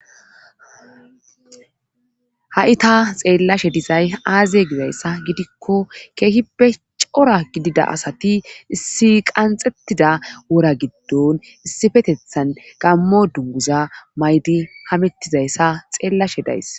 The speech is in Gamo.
Ha7i ta xeellashe dizay aaziye gizayssa gidikko keehippe cora gidida asati issi qanxettida wora giddon issifetethan gammo dunguza maydi hamettizayssa xeellashe days.